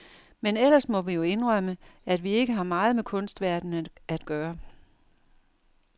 Men ellers må vi jo indrømme, at vi ikke har meget med kunstverdenen at gøre.